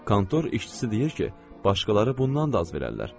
Kontor işçisi deyir ki, başqaları bundan da az verərlər.